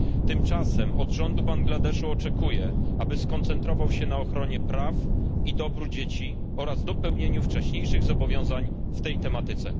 Tymczasem od rządu Bangladeszu oczekuję, aby skoncentrował się na ochronie praw i dobru dzieci oraz dopełnieniu wcześniejszych zobowiązań w tej tematyce.